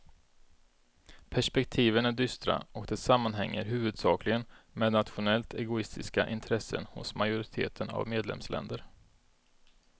Perspektiven är dystra och det sammanhänger huvudsakligen med nationellt egoistiska intressen hos majoriteten av medlemsländer.